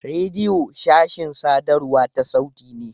Rediyo sashin sadarwa ta sauti ne.